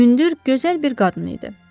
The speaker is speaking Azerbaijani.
Hündür, gözəl bir qadın idi.